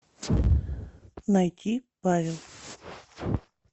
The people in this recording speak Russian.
найти павел